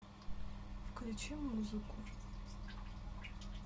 включи музыку